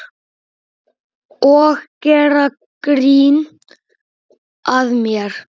Og gera grín að mér.